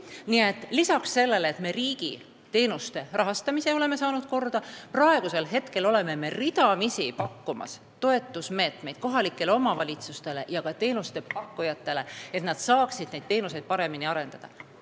Nii et lisaks sellele, et me riigi teenuste rahastamise oleme korda saanud, me pakume ridamisi toetusmeetmeid kohalikele omavalitsustele ja ka teenuste pakkujatele, et nad saaksid oma teenuseid paremini arendada.